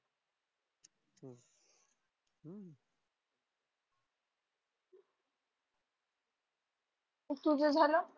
मग तुझं झालं?